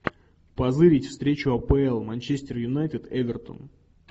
позырить встречу апл манчестер юнайтед эвертон